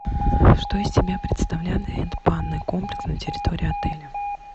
что из себя представляет банный комплекс на территории отеля